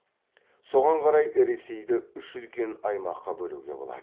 соған қарай ресейді үш үлкен аймаққа бөлуге болады